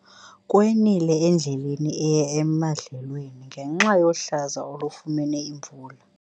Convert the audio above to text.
Kwenile endleleni eya emadlelweni ngenxa yohlaza olufumene imvula.